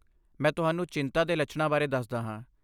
ਮੈਂ ਤੁਹਾਨੂੰ ਚਿੰਤਾ ਦੇ ਲੱਛਣਾਂ ਬਾਰੇ ਦੱਸਦਾ ਹਾਂ।